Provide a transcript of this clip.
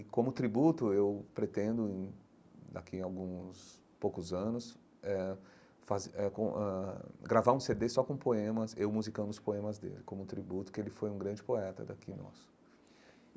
E, como tributo, eu pretendo e, daqui a alguns poucos anos, eh ãh gravar um CD só com poemas, eu musicando os poemas dele, como tributo, porque ele foi um grande poeta daqui em nós.